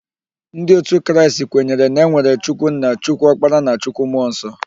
Ndị otu Kraịst kwere na enwere Chukwu nna, Chukwu okpara na Chukwu mmụọ nsọ.